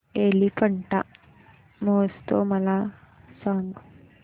एलिफंटा महोत्सव मला सांग